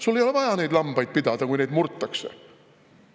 Sul ei ole vaja lambaid pidada, kui neid murtakse.